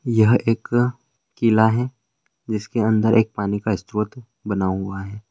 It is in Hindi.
यह एक किला है जिसके अंदर एक पानी का बना हुआ है।